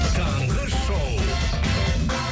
таңғы шоу